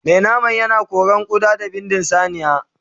Mai nama yana koran ƙuda da bindin saniya